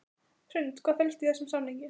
Hrund: Hvað felst í þessum samningi?